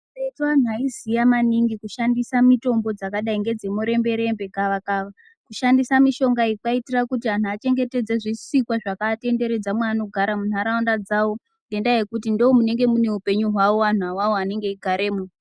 Karetu anhu aiziya maningi kushandisa mitombo dzakadai ngedze muremberembe , gavakava kushandisa mishonga iyi kwaiitira kuti anhu achengetedze zvisikwa zvakatenderedza munharaunda dzawo ngendaa yekuti ndomunenge mune upenyu hwawo anhu awawo anenge eigaremo.